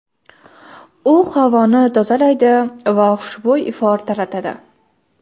U havoni tozalaydi va xushbo‘y ifor taratadi.